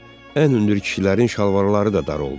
Ən hündür kişilərin şalvarları da dar oldu.